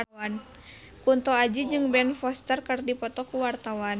Kunto Aji jeung Ben Foster keur dipoto ku wartawan